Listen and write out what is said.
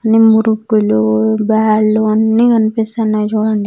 నిమురుప్పులు bed లు అన్ని కనిపిస్తున్నాయి చూడండి.